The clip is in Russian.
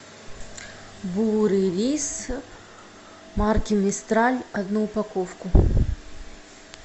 бурый рис марки мистраль одну упаковку